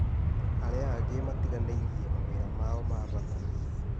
arĩa angĩ matiganĩrie mawĩra mao ma bata